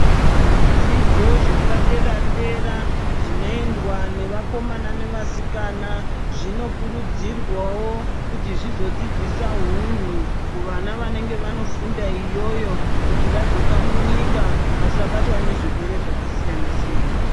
Zvidzidzo zvepadera dera zvinoendwa nevakomana nevasikana zvinokurudzirwawo kuti zvizodzidzisa hunhu kuvana vanenge vanofunda iyoyo kuti vadzoka munyika vasabatwa nezvirwere zvakasiyana siyana.